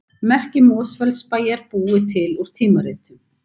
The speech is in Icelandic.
Merki Mosfellsbæjar búið til úr tímaritum